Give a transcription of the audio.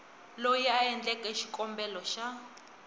loyi a endleke xikombelo xa